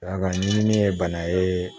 A ka ɲiminin ye bana ye